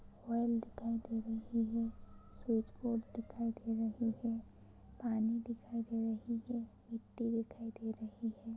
Oil दिखाई दे रही है स्विच बोर्ड दिखाई दे ररही हैपानी दिखाई दे रही है मिट्टी दिखाई दे रही है।